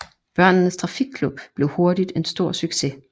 Børnenes Trafikklub blev hurtigt en stor succes